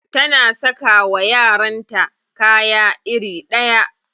Tana saka wa yaranta kaya iri ɗaya.